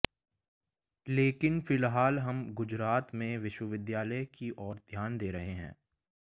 लेकिन फिलहाल हम गुजरात में विश्वविद्यालय की ओर ध्यान दे रहे हैं